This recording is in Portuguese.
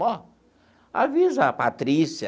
Ó, avisa a Patrícia.